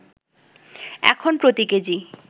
এখন প্রতি কেজি